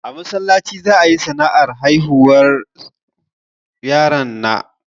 A masallaci za'ayi sanarwar haihuwar yaron na